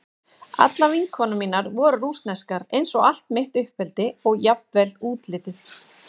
Allar vinkonur mínar voru rússneskar eins og allt mitt uppeldi og jafnvel útlitið.